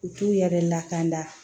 U t'u yɛrɛ lakana